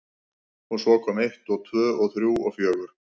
Og svo kom eitt og tvö og þrjú og fjögur.